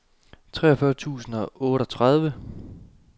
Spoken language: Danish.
treogfyrre tusind og otteogtredive